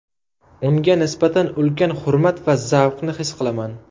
Unga nisbatan ulkan hurmat va zavqni his qilaman.